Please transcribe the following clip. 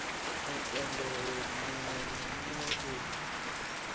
mupendelo muwe na muwe u